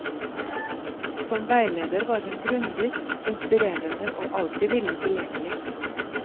Som veileder var hun grundig, inspirerende og alltid villig tilgjengelig.